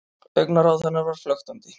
Augnaráð hennar var flöktandi.